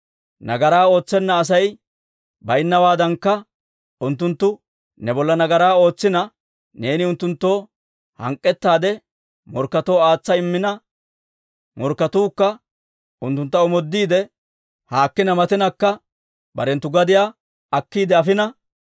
«Nagaraa ootsenna Asay baynnawaadankka, unttunttu ne bolla nagaraa ootsina, neeni unttunttoo hank'k'ettaade morkketoo aatsa immina, morkketuukka unttuntta omoodiide, haakkina matinakka barenttu gadiyaa akkiide afina,